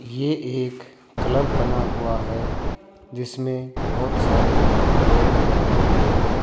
ये एक क्लब बना हुआ है जिसमें बहुत सारे लोग बैठे हुए हैं।